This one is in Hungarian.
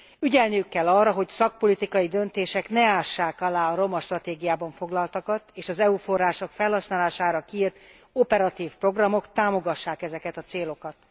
Ügyelniük kell arra, hogy szakpolitikai döntések ne ássák alá a romastratégiában foglaltakat, és az EU források felhasználására kiírt operatív programok támogassák ezeket a célokat.